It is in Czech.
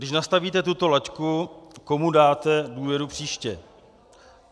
Když nastavíte tuto laťku, komu dáte důvěru příště?